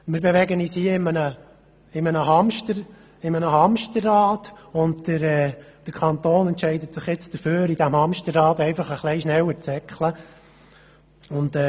Wir bewegen uns hier in einem Hamsterrad, und der Kanton entscheidet sich jetzt dafür, in diesem Hamsterrad einfach ein bisschen schneller zu rennen.